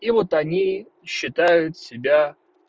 и вот они считают себя